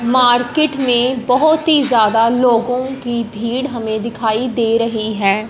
Market में बहुत ही ज्यादा लोगों की भीड़ हमें दिखाई दे रही है।